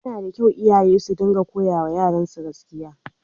Yana da kyau iyaye su dinga koyawa yaransu gaskiya.